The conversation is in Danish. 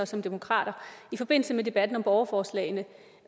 som demokrater i forbindelse med debatten om borgerforslagene